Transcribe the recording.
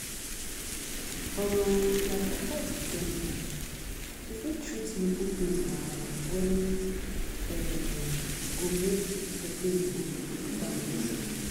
um like after you don born you fit treat nipple pain wahala wey um go make the pain go down true